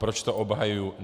Proč to obhajuju?